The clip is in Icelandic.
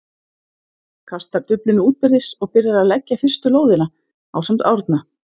kastar duflinu útbyrðis og byrjar að leggja fyrstu lóðina, ásamt Árna.